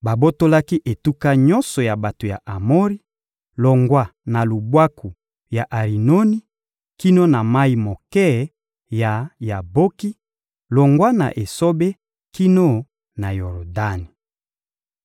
Babotolaki etuka nyonso ya bato ya Amori, longwa na lubwaku ya Arinoni kino na mayi moke ya Yaboki, longwa na esobe kino na Yordani.